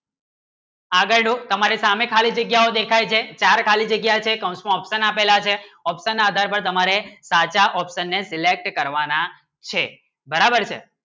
આગળનું તમારે સામને ખાલી જગ્યા દિખાઈ છેચાર ખાલી જગ્ય છે confirm option આપેલા છે option આધારે તમારે તાજા option ના select કરવાના છે બરાબર છે